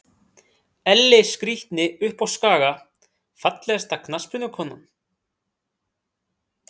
Elli skrítni uppá skaga Fallegasta knattspyrnukonan?